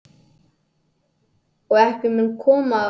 Og ekki mun koma til óeirða neins staðar á jörðinni.